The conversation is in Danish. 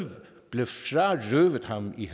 i